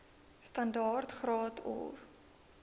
standaard graad or